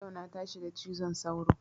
Yau na tashi da cizon sauro